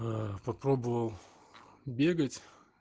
аа попробовал бегать